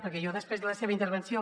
perquè jo després de la seva intervenció